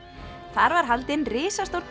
þar var haldin risastór